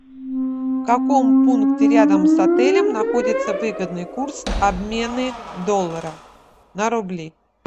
в каком пункте рядом с отелем находится выгодный курс обмены доллара на рубли